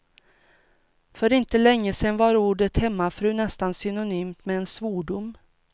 För inte länge sedan var ordet hemmafru nästan synonymt med en svordom.